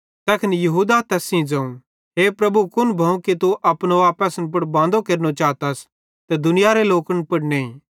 तैखन यहूदा तै यहूदा इस्करियोती न थियो बल्के होरो चेलो थियो तैस सेइं ज़ोवं हे प्रभु कुन भोव कि तू अपनो आप असन पुड़ बांदो केरनो चातस ते दुनियारे लोकन पुड़ नईं